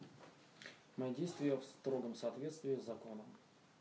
мои действия в строгом соответствии с законом